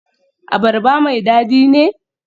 Abarba mai dadi ne?